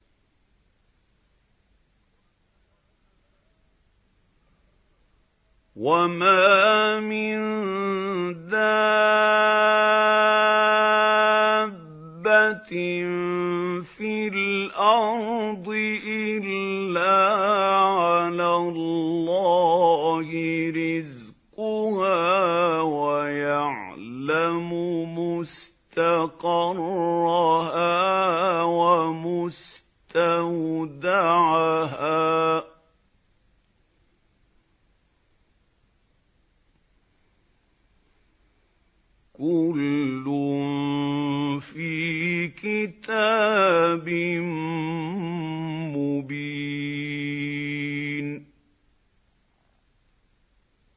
۞ وَمَا مِن دَابَّةٍ فِي الْأَرْضِ إِلَّا عَلَى اللَّهِ رِزْقُهَا وَيَعْلَمُ مُسْتَقَرَّهَا وَمُسْتَوْدَعَهَا ۚ كُلٌّ فِي كِتَابٍ مُّبِينٍ